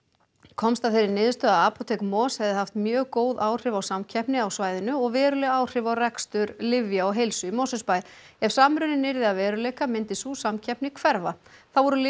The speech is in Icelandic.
komst að þeirri niðurstöðu að apótek MOS hefði haft mjög góð áhrif á samkeppni á svæðinu og veruleg áhrif á rekstur lyfja og heilsu í Mosfellsbæ ef samruninn yrði að veruleika myndi sú samkeppni hverfa þá voru lyf